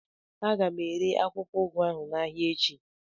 A ga m ere akwụkwọ ụgụ ahụ n'ahịa echi